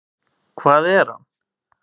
Hvað er hann?